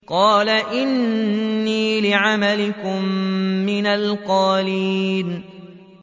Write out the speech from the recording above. قَالَ إِنِّي لِعَمَلِكُم مِّنَ الْقَالِينَ